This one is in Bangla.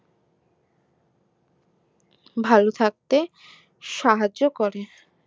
ভালো থাকতে সাহায্য করে